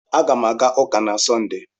Aga m aga ụka na Sọnde.